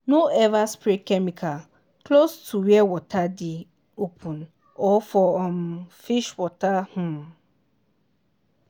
no ever spray chemical close to where water dey open or for um fish water. um